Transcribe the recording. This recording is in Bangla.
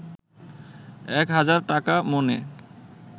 একহাজার টাকা মণে